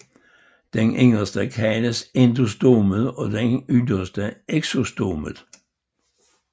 Den inderste kaldes endostomet og den yderste exostomet